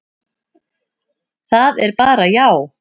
Það er bara já.